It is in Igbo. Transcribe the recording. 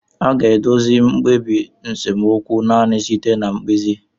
A ga-edozi mkpebi nsemokwu naanị site na mkpezi.